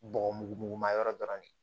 Bɔgɔ mugu mugu ma yɔrɔ dɔrɔn de